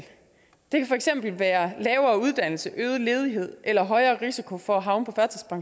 det kan for eksempel være lavere uddannelse øget ledighed eller højere risiko for at havne på